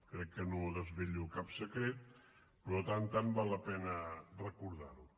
crec que no desvelo cap secret però de tant en tant val la pena recordar ho